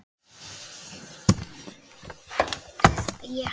Þar var efinn.